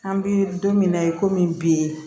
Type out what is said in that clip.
An bɛ don min na i komi bi